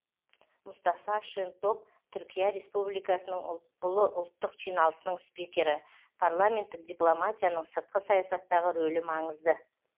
мұстафа шентоп түркия республикасының ұлы ұлттық жиналысының спикері парламенттік дипломатияның сыртқы саясаттағы рөлі маңызды